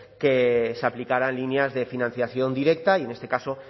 que se aplicaran líneas de financiación directa y en este caso